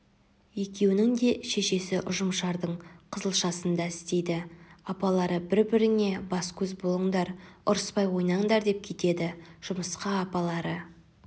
екеуінің де шешесі ұжымшардың қызылшасында істейді апалары бір-біріңе бас-көз болындар ұрыспай ойнаңдар деп кетеді жұмысқа апалары